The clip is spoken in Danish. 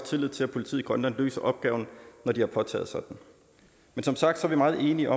tillid til at politiet i grønland løser opgaven når de har påtaget sig den som sagt er vi meget enige